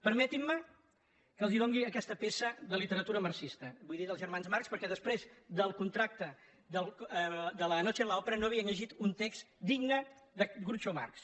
permetin·me que els doni aquesta peça de lite·ratura marxista vull dir dels germans marx perquè després del contracte de la noche en la óperavia llegit un text digne de groucho marx